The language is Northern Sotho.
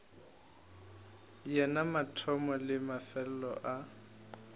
yena mathomo le mefelelo a